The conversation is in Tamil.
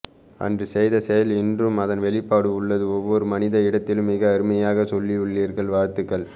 அன்று செய்த செயல் இன்றும் அதன் வெளிப்பாடு உள்ளது ஒவ்வொரு மனிதன் இடத்திலும் மிக அருமையாக சொல்லியுள்ளீர்கள் வாழ்த்துக்கள்